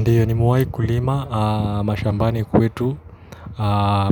Ndiyo nimewai kulima, mashambani kwetu,